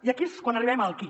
i aquí és quan arribem al qui